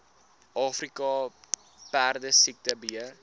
afrika perdesiekte beheer